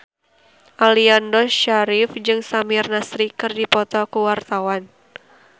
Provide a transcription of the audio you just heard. Aliando Syarif jeung Samir Nasri keur dipoto ku wartawan